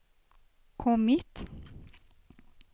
kommit